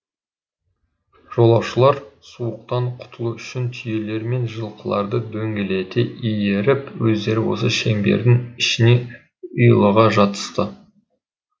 жолаушылар суықтан құтылу үшін түйелер мен жылқыларды дөңгелете иіріп өздері осы шеңбердің ішіне ұйлыға жатысты